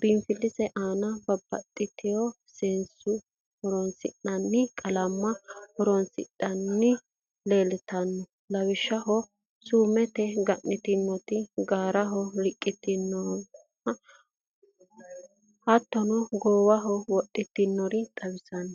biinfilise aana babaxitino seesaho horoonsi'nanni qallama horoonsidhinotino leelitannote lawishshaho suummete ga'nitinoti, gaaraho riqitinnotina hattono goowaho wodhitinorichi xawisanno